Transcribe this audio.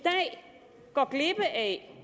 går glip af